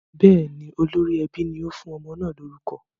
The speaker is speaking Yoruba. Bẹ́ẹ̀ ni, olórí ẹbí ni ó fún ọmọ náà lórúkọ.